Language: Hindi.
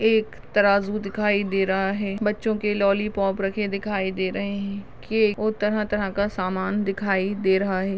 एक तराजू दिखाई दे रहा है बच्चो के लॉलीपॉप रखे दिखाई दे रहे है के और तऱ्हा तऱ्हा का सामान दिखाई दे रहा है।